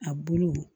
A bulu